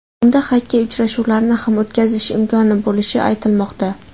Unda xokkey uchrashuvlarini ham o‘tkazish imkoni bo‘lishi aytilmoqda.